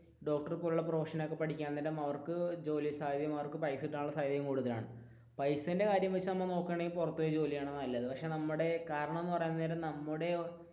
doctor പോലുള്ള profession ഒക്കെ പഠിക്കാൻ നേരം അവർക്ക് ജോലി സാധ്യതയും പൈസ കിട്ടാനുമുള്ള സാധ്യതയും കൂടുതലാണ് പൈസയുടെ കാര്യം വെച്ച് നമ്മൾ നോക്കുകയാണെകിൽ നമ്മൾ പുറത്തു പോയി ജോലി ചെയ്യുന്നതാണ് നല്ലത് പക്ഷെ നമ്മുടെ കാരണം എന്ന് പറയാൻ നേരം, നമ്മുടെ